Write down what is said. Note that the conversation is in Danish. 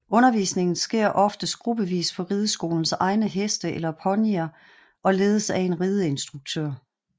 Undervisningen sker oftest gruppevis på rideskolens egne heste eller ponyer og ledes af en rideinstruktør